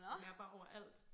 Og den er bare overalt